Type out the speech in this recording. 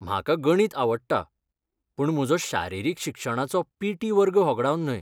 म्हाका गणित आवडटा पूण म्हजो शारिरीक शिक्षणाचो पी. टी. वर्ग होगडावन न्हय.